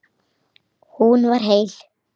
Hún var heil.